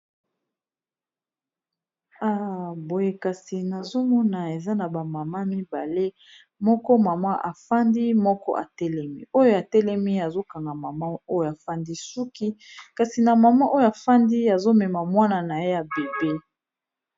Boye kasi nazomona eza na ba maman mibale moko afandi mususu atelemi oyo atelemi azo kanga suku oyo afandi amemi Mwana naye ya muke .